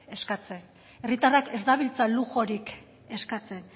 eskatzen herritarrak ez dabiltza luxurik eskatzen